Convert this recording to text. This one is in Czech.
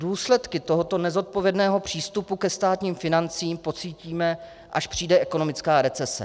Důsledky tohoto nezodpovědného přístupu ke státním financím pocítíme, až přijde ekonomická recese.